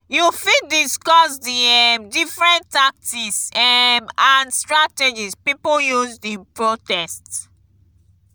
you fit discuss di um different tactics um and strategies people used in protest.